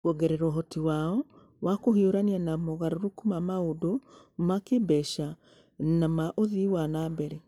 Kũongerera ũhoti wao wa kũhiũrania na mogarũrũku ma maũndũ ma kĩĩmbeca na ma ũthii wa na mbere.